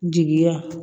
Jigiya